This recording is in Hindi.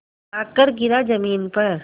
आकर गिरा ज़मीन पर